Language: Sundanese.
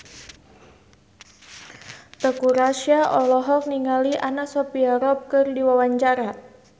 Teuku Rassya olohok ningali Anna Sophia Robb keur diwawancara